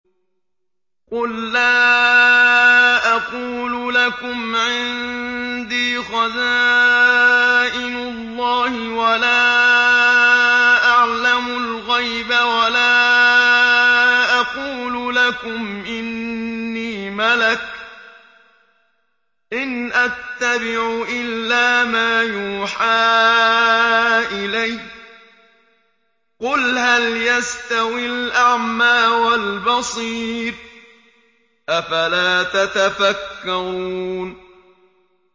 قُل لَّا أَقُولُ لَكُمْ عِندِي خَزَائِنُ اللَّهِ وَلَا أَعْلَمُ الْغَيْبَ وَلَا أَقُولُ لَكُمْ إِنِّي مَلَكٌ ۖ إِنْ أَتَّبِعُ إِلَّا مَا يُوحَىٰ إِلَيَّ ۚ قُلْ هَلْ يَسْتَوِي الْأَعْمَىٰ وَالْبَصِيرُ ۚ أَفَلَا تَتَفَكَّرُونَ